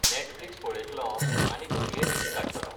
Netflix पळयतलों आनी घडये न्हिद काडटलों .